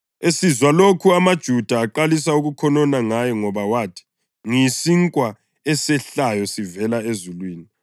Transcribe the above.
Esizwa lokhu amaJuda aqalisa ukukhonona ngaye ngoba wathi, “Ngiyisinkwa esehlayo sivela ezulwini.”